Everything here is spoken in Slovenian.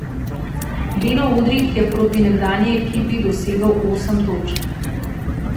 Beno Udrih je proti nekdanji ekipi dosegel osem točk.